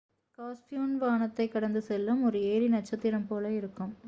capsule வானத்தைக் கடந்து செல்லும் ஒரு எரி நட்சத்திரம் போல இருக்கும்